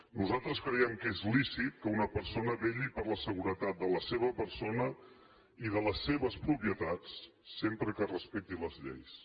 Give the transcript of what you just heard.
nosaltres creiem que és lícit que una persona vetlli per la seguretat de la seva persona i de les seves propietats sempre que respecti les lleis